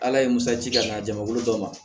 Ala ye musaji ka na jama wolo dɔ ma